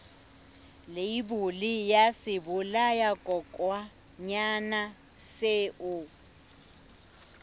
leibole ya sebolayakokwanyana seo o